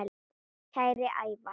Kæri Ævar.